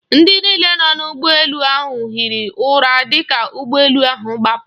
Ndị niile nọ n'ụgbọ elu ahụ hiri ụra dịka ụgbọ elu ha gbapụrụ.